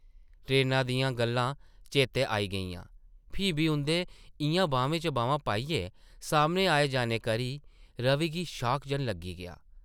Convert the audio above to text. ट्रेना दियां गल्लां चेतै आई गेइयां , फ्ही बी उंʼदे इʼयां बाह्में च बाह्मां पाइयै सामनै आई जाने करी रवि गी शॉक जन लग्गी गेआ ।